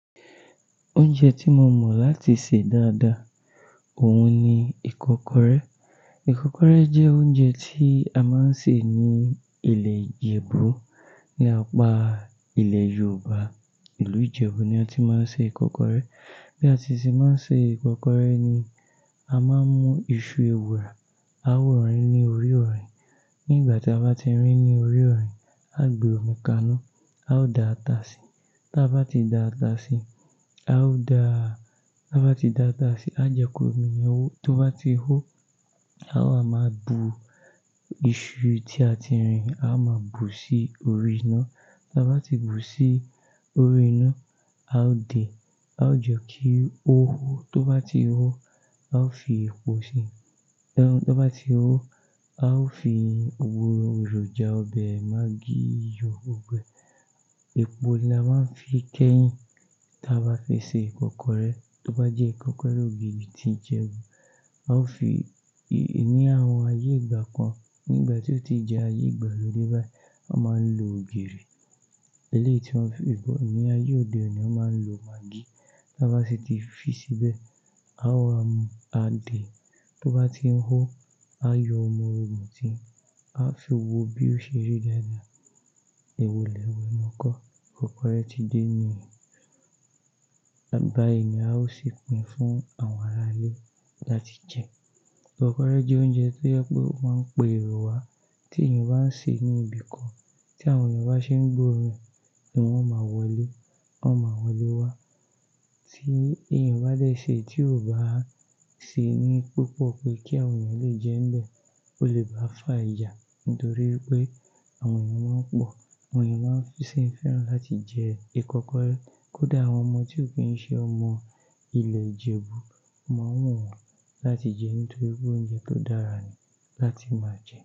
Oúnjẹ tí mo mọ̀ láti sè dáadáa, òun ni ìkọ́kọrẹ́. Ìkọ́kọrẹ́ jẹ́ oúnjẹ tí a máa ń sè ní ilẹ̀ ìjẹ̀bú ní apá ilẹ̀ Yorùbá. Ìlú Ìjẹ̀bú ni a ti máa ń ṣe ìkọ́kọrẹ́. Bí a ti ṣe máa ń ṣe ìkọ́kọrẹ́ ni, a máa mú iṣu ewùrà, a ó rin ní orí ọ̀rìn. Nígbà tí a bá ti rìn ní orí ọ̀rìn, a gbe omi kaná, a ó da ata síi. Bí a bá ti da ata síi, a ó da-- tí a bá ti da ata síi, a jẹ́kí omi yẹn hó. Tó bá ti hó, a wá máa bu iṣu tí a ti rìn, a wá máa bu sí orí iná. Tí a bá ti bu sí orí iná, a ó dè, a ó jẹ kí ó hó. Tó bá ti hó, a ó fi epo síi. Tó bá ti hó, a ó fi ògùrọ, èròjà ọbẹ̀, maggi, iyọ, gbogbo ẹ̀. Epo ni a máa ń fi kẹ́yìn tí a bá fẹ́ ṣe ìkọ́kọrẹ́. Tó bá jẹ́ ìkọ́kọrẹ́ ògìrì tí Ìjẹ̀bú, a ó fi i ní àwọn ayé ìgbà kan, nígbà tí ó ti jẹ ayé ìgbàlódé báyìí, a máa ń lo ògìrì eléyìí tí wọ́n fi gbọ̀. Ní ayé òde òní, a máa ń lo maggi. Tó bá sì ti fi síbẹ̀, a ó wá mú, a dè. Tí ó bá ti ń hó, a yọ ọmọ orogún ti, a fi wo bí ó ṣe rí lẹ́nu. Èwo ile ẹ́wọ́ enú ọkọ́. Ìkọ́kọrẹ́ ti dé níì. Bayi ni a ó sì pín fún àwọn ará ilé láti jẹ. Ìkọ́kọrẹ́ jẹ́ oúnjẹ tí ó jẹ́ pé ó máa ń pẹ èrò wa tí èèyàn bá ń sè ní ibìkan tí àwọn èèyàn bá ṣe ń gbó ọ̀run ní wọ́n máa wọlé, wọ́n máa wọlé wá. Tí èèyàn bá dé sè tí ò bá ṣe ní púpọ̀ pé kí àwọn èèyàn lè jẹ́ ń bẹ, ó lè bá fà ìjà nítorí pé àwọn èèyàn máa ń pọ̀. Àwọn èèyàn máa ń fẹ́ sí i fẹ́ràn láti jẹ ìkọ́kọrẹ́. Kódà àwọn ọmọ tí ò kí ń ṣe ọmọ ilẹ̀ Ìjẹ̀bú máa wù wọ́n láti jẹ nítorí pé oúnjẹ tó dára ni láti máa jẹ́.